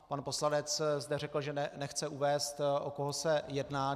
Pan poslanec zde řekl, že nechce uvést, o koho se jedná.